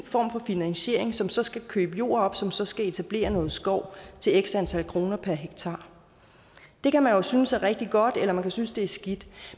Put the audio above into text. form for finansiering som så skal købe jord op som så skal etablere noget skov til x antal kroner per hektar det kan man jo synes er rigtig godt eller man kan synes det er skidt